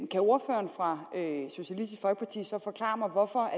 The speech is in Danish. kan ordføreren fra socialistisk folkeparti så forklare mig hvorfor